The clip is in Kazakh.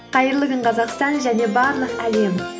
қайырлы күн қазақстан және барлық әлем